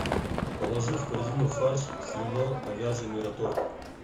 положи в корзину фарш свино говяжий мираторг